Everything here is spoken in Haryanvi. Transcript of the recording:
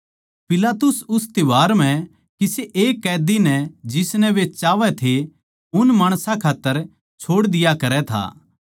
पिलातुस उस त्यौहार म्ह किसे एक कैदी नै जिसनै वे चाहवै थे उन माणसां खात्तर छोड़ दिया करै था